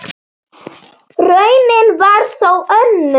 Raunin varð þó önnur.